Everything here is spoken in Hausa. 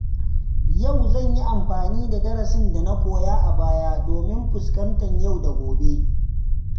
Yau zan yi amfani da darasin da na koya a baya domin fuskantar yau da gobe.